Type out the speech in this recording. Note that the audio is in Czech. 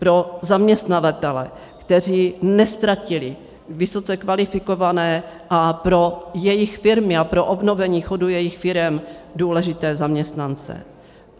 Pro zaměstnavatele, kteří neztratili vysoce kvalifikované, a pro jejich firmy a pro obnovení chodu jejich firem důležité zaměstnance.